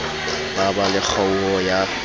ba ba le kgaoho ya